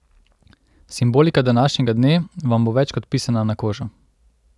Simbolika današnjega dne vam bo več kot pisana na kožo.